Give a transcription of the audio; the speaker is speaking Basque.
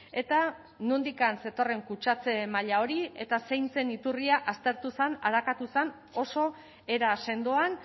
eta nondik zetorren kutsatze maila hori eta zein zen iturria aztertu zen arakatu zen oso era sendoan